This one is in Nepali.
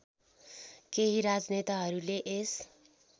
केही राजनेताहरूले यस